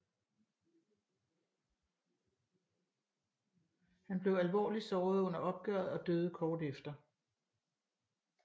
Han blev alvorligt såret under opgøret og døde kort efter